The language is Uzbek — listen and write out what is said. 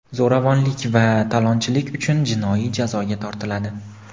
zo‘ravonlik va talonchilik uchun jinoiy jazoga tortiladi.